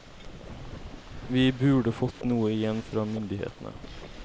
Vi burde fått noe igjen fra myndighetene.